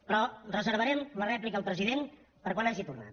però reservarem la rèplica al president per quan hagi tornat